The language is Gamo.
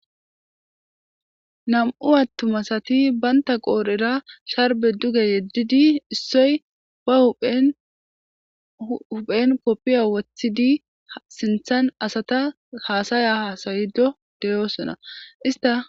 Nam7u atuma asati banta qorera sharbbe dugge yedidi ,issoy ba huuphen kopiya wotidi, sinthen asata haasaya haasayido de7osona